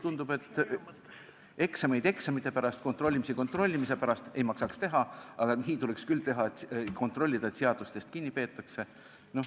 Tundub, et eksameid eksamite pärast, kontrollimisi kontrollimise pärast ei maksaks teha, aga nii tuleks küll teha, et kontrollitaks seda, kas seadustest kinni peetakse.